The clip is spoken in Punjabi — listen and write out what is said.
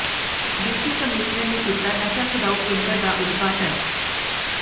ਡਿਪਟੀ ਕਮਿਸ਼ਨਰ ਨੇ ਕੀਤਾ ਨਸ਼ਾ ਛੁਡਾਉਂ ਕੇਂਦਰ ਦਾ ਉਦਘਾਟਨ